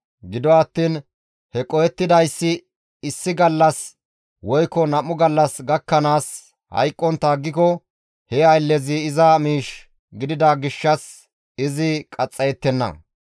Gido attiin he qohettidayssi issi gallas woykko nam7u gallas gakkanaas hayqqontta aggiko he ayllezi iza miish gidida gishshas izi qaxxayettenna.